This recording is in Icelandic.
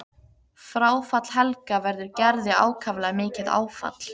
Fráfall Helga verður Gerði ákaflega mikið áfall.